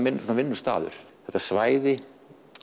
minn vinnustaður þetta svæði